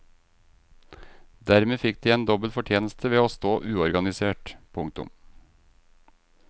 Dermed fikk de en dobbel fortjeneste ved å stå uorganisert. punktum